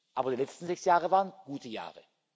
Aber die letzten sechs Jahre waren gute Jahre.